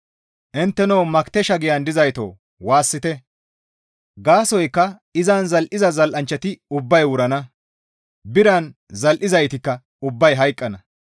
Intteno Makitesha giyan dizaytoo! Waassite; gaasoykka izan zal7iza zal7anchchati ubbay wurana; biran zal7izaytikka ubbay hayqqana.